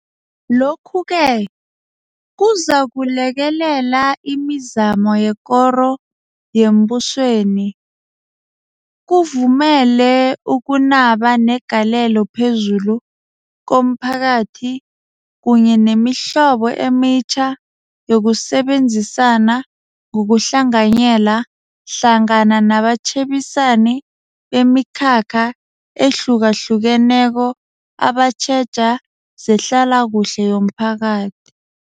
Lokhu-ke kuzakulekelela imizamo yekoro yembusweni, kuvumele ukunaba negalelo phezulu komphakathi kunye nemihlobo emitjha yokusebenzisana ngokuhlanganyela hlangana nabatjhebisani bemikhakha ehlukahlukeneko abatjheja zehlalakuhle yomphakathi.